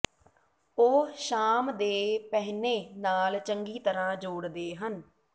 ਉਹ ਸ਼ਾਮ ਦੇ ਪਹਿਨੇ ਨਾਲ ਚੰਗੀ ਤਰ੍ਹਾਂ ਜੋੜਦੇ ਹਨ